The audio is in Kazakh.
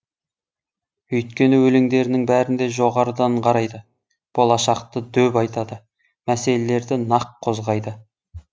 өйткені өлеңдерінің бәрінде жоғарыдан қарайды болашақты дөп айтады мәселелерді нақ қозғайды